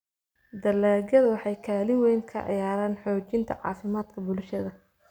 Dalagyadu waxay kaalin weyn ka ciyaaraan xoojinta caafimaadka bulshada.